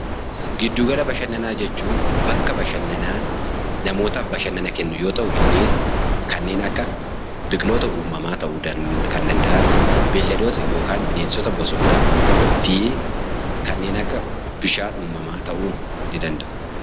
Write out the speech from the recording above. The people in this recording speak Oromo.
Giddugala bashannanaa jechuun bakka bashannanaa namootaaf bashannana kennu yoo ta'u, innis kanneen akka biqiloota uumamaa ta'uu kan danda'an yookaan bineensota bosonaa fi kanneen akka bishaan uumamaa ta'uu ni danda'a.